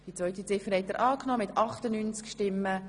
Sie haben Ziffer 2 angenommen.